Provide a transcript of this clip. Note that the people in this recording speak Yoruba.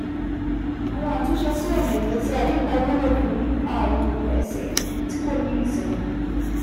Àwọn àtúnṣe sí ọ̀nà ìgbésí ayé kan wúlò fún àrùn ẹsẹ̀ tí kò ní ìsinmi